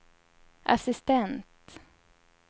assistent